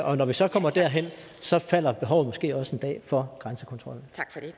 og når vi så kommer derhen så falder behovet måske også en dag for grænsekontrollen